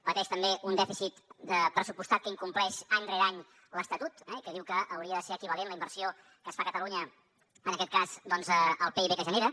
pateix també un dèficit de pressupostat que incompleix any rere any l’estatut que diu que hauria de ser equivalent la inversió que es fa a catalunya en aquest cas doncs al pib que genera